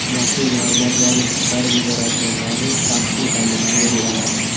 Maxfiy ma’lumotlarni chiqarib yuboradiganlarni ta’qib etamiz”, dedi u.